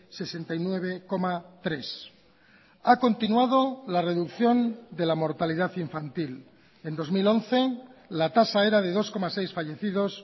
sesenta y nueve coma tres ha continuado la reducción de la mortalidad infantil en dos mil once la tasa era de dos coma seis fallecidos